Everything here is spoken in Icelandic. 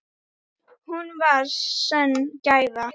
Hún var mér sönn gæfa.